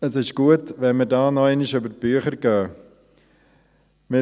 Es ist gut, wenn wir hier noch einmal über die Bücher gehen.